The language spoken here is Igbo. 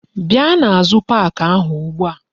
Bia n'azu pak ahu ugbu a!